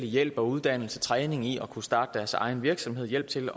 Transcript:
hjælp og uddannelse træning i at kunne starte deres egen virksomhed hjælp til